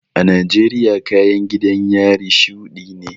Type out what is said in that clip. A Najeriya kayan gidan yari shuɗi ne